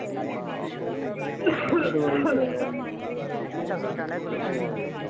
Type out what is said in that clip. ਲਿਆਉਣੀ ਚਾਹੀਦੀ ਹੈ ਨਹੀਂ ਤੇ ਲੋਕ ਇਹੋ ਹੋਊਗਾ ਬਾਜ ਚ